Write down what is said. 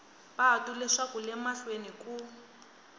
patu leswaku le mahlweni ku